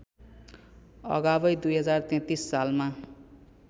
अगावै २०३३ सालमा